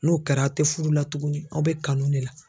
N'o kɛra aw tɛ fudu la tugunni aw bɛ kanu de la.